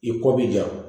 I ko b'i ja